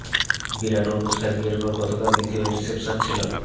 বিরাট ও অনুষ্কার বিয়ের পর গতকাল দ্বিতীয় রিসেপশন ছিল